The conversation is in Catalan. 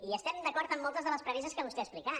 i estem d’acord en moltes de les premisses que vostè ha explicat